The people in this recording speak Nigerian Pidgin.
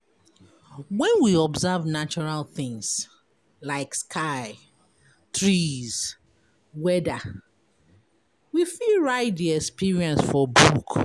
When we observe natural things like sky, trees, weather we fit write di experience for book